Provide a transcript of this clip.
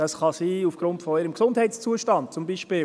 Dies kann aufgrund ihres Gesundheitszustandes sein, zum Beispiel.